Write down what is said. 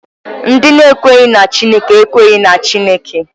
Ndị na-ekweghị na Chineke ekweghị na Chineke.